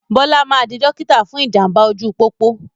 Bọlá máa di dókítà fún ìjàmbá ojú pópó